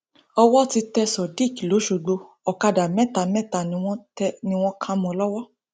owó ti tẹ sodiq lọsọgbọ ọkadà mẹta mẹta ni wọn kà mọ ọn lọwọ